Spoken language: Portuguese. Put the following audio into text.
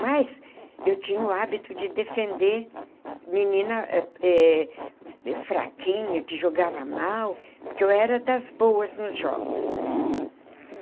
Mas eu tinha o hábito de defender menina eh fraquinha, que jogava mal, porque eu era das boas nos jogos.